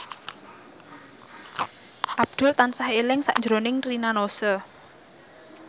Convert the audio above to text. Abdul tansah eling sakjroning Rina Nose